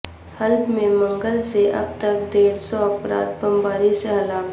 حلب میں منگل سے اب تک ڈیڑھ سو افراد بم باری سے ہلاک